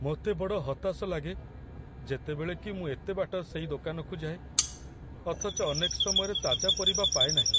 ମୋତେ ବଡ଼ ହତାଶ ଲାଗେ ଯେତେବେଳେ କି ମୁଁ ଏତେ ବାଟ ସେଇ ଦୋକାନକୁ ଯାଏ, ଅଥଚ ଅନେକ ସମୟରେ ତାଜା ପରିବା ପାଏନାହିଁ।